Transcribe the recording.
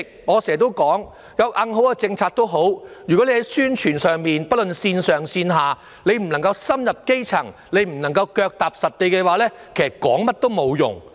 我常說即使有極其完善的政策，但當局若宣傳不足，不能深入基層，腳踏實地，也只會徒勞無功。